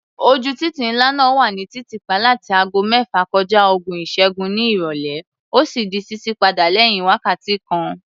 Ojú títì ńlá náà wà ní títì pa láti ago mẹ́fà kọja ogún ìṣẹ́gún ní ìrọ̀lẹ́, ó sì di ṣíṣí padà lẹ́yìn wákàtí kan.